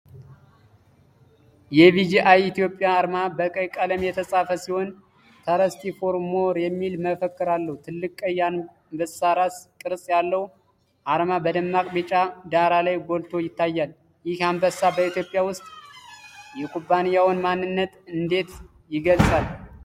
የ"ቢጂአይ ኢትዮጵያ " አርማ በቀይ ቀለም የተፃፈ ሲሆን "THIRSTY FOR MORE" የሚል መፈክር አለው። ትልቅ ቀይ አንበሳ ራስ ቅርፅ ያለው አርማ በደማቅ ቢጫ ዳራ ላይ ጎልቶ ይታያል። ይህ አንበሳ በኢትዮጵያ ውስጥ የኩባንያውን ማንነት እንዴት ይገልጻል?